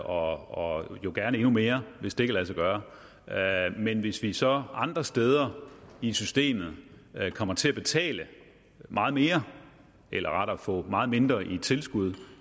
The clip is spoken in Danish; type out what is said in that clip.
og jo gerne endnu mere hvis det kan lade sig gøre men hvis vi så andre steder i systemet kommer til at betale meget mere eller rettere få meget mindre i tilskud